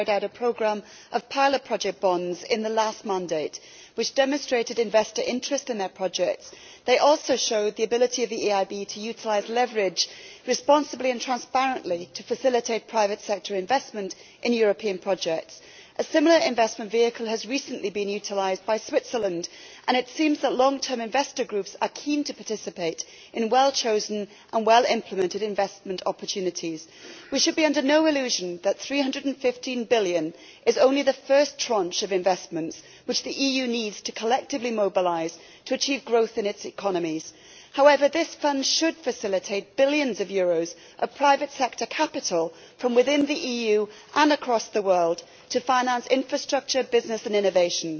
Mr President, dear colleagues, many of you will know that EFSI is not a new concept for the EIB. They successfully carried out a programme of pilot project bonds in the last mandate, which demonstrated investor interest in their projects. They also showed the ability of the EIB to utilise leverage responsibly and transparently in order to facilitate private sector investment in European projects. A similar investment vehicle has recently been utilised by Switzerland, and it seems that long term investor groups are keen to participate in well chosen and well-implemented investment opportunities. We should be under no illusion that EUR 315 billion is only the first tranche of investments which the EU needs to collectively mobilise to achieve growth in its economies. However, this fund should facilitate billions of euros of private sector capital, from within the EU and across the world, to finance infrastructure, business and innovation.